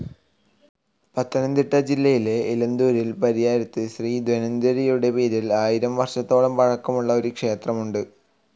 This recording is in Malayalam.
പത്തനംതിട്ട ജില്ലയിലെ ഇലന്തൂരിലെ പരിയാരത്ത് ശ്രീ ധന്വന്തരിയുടെ പേരിൽ ആയിരം വർഷത്തോളം പഴക്കമുള്ള ഒരു ക്ഷേത്രമുണ്ട്.